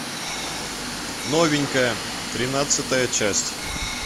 новенькая тринадцатая часть